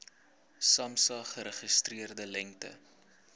samsa geregistreerde lengte